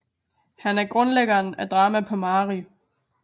Han er grundlæggeren af drama på mari